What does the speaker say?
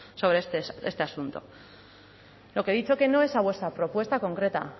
sobre este asunto lo que he dicho que no es a vuestra propuesta concreta